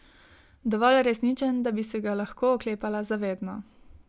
Dovolj resničen, da bi se ga lahko oklepala za vedno.